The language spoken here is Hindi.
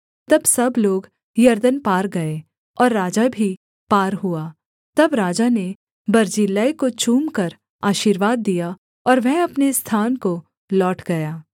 तब सब लोग यरदन पार गए और राजा भी पार हुआ तब राजा ने बर्जिल्लै को चूमकर आशीर्वाद दिया और वह अपने स्थान को लौट गया